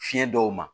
Fiɲɛ dɔw ma